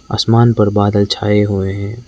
आसमान पर बादल छाए हुए हैं।